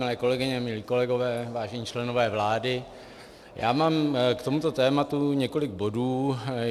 Milé kolegyně, milí kolegové, vážení členové vlády, já mám k tomuto tématu několik bodů.